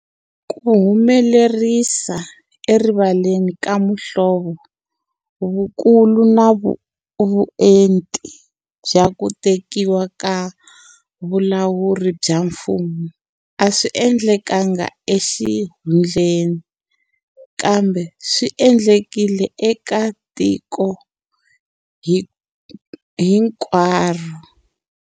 Ku humelerisa erivaleni ka muhlovo, vukulu na vuenti bya ku tekiwa ka vulawuri bya mfumo a swi endlekanga exihundleni, kambe swi haxiwile eka tiko hi nkwaro.